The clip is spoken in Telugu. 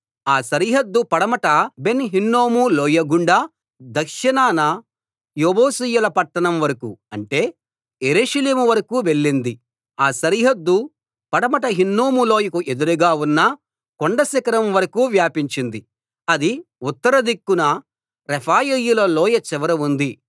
ఆ సరిహద్దు పడమట బెన్‌ హిన్నోము లోయ గుండా దక్షిణాన యెబూసీయుల పట్టణం వరకూ అంటే యెరూషలేం వరకూ వెళ్ళింది ఆ సరిహద్దు పడమట హిన్నోము లోయకు ఎదురుగా ఉన్న కొండ శిఖరం వరకూ వ్యాపించింది అది ఉత్తర దిక్కున రెఫాయీయుల లోయ చివర ఉంది